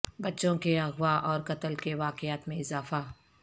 بچوں کے اغوا اور قتل کے واقعات میں اضافہ